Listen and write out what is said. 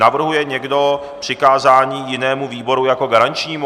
Navrhuje někdo přikázání jinému výboru jako garančnímu?